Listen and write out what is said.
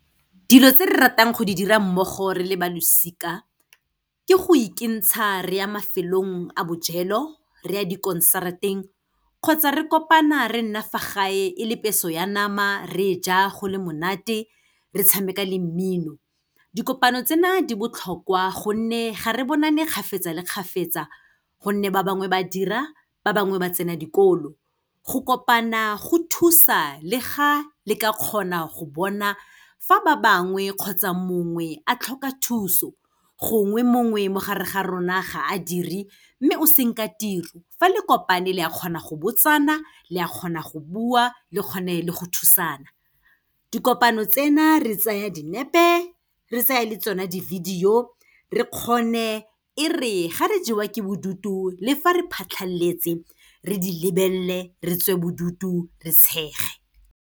Dilo tse re ratang go di dira mmogo re le ba losika, ke go ikentsha re ya mafelong a bojelo, re ya di-concert-eng kgotsa re kopana re nna fa gae, e le peso ya nama, re ja go le monate, re tshameka le mmino. Dikopano tsena di botlhokwa gonne ga re bonane kgapetsa le kgapetsa, gonne ba bangwe ba dira, ba bangwe ba tsena dikolo. Go kopana go thusa le ga le ka kgona go bona fa ba bangwe kgotsa mongwe a tlhoka thuso. Gongwe mongwe mo gare ga rona ga a dire, mme o senka tiro, fa le kopane le a kgona go botsana, le a kgona go bua, le kgone le go thusana. Dikopano tsena re tsaya dinepe, re tsaya le tsona di-video, re kgone e re ga re jewa ke bodutu le fa re phatlhaletse, re di lebelele re tswe bodutu, re tshege.